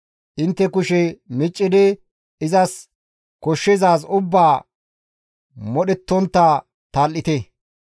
Intte kushe miccidi izas koshshizaaz ubbaa modhettontta tal7ite.